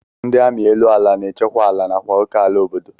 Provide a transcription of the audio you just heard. Ndị amị elu ala na-echekwa ala nakwa oké ala obodo